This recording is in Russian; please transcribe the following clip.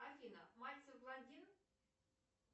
афина мальцев блондин